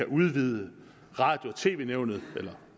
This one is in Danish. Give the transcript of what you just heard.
udvider radio og tv nævnet med